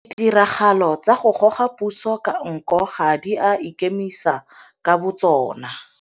Ditiragalo tsa go goga puso ka nko ga di a ikemisa ka botsona.